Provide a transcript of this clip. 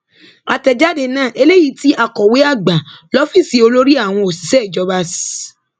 àtẹjáde náà eléyìí tí akọwé àgbà lọfíìsì olórí àwọn òṣìṣẹ ìjọba s